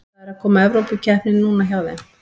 Það er að koma Evrópukeppni núna hjá þeim.